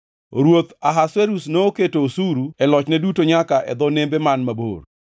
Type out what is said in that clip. Ruoth Ahasuerus noketo osuru e lochne duto nyaka e dho nembe man mabor.